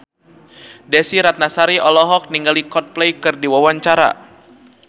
Desy Ratnasari olohok ningali Coldplay keur diwawancara